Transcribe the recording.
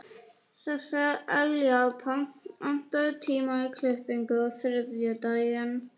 Sesselja, pantaðu tíma í klippingu á þriðjudaginn.